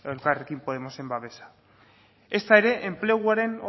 elkarrekin podemosen babesa ezta ere enpleguaren